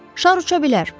Şar uça bilər.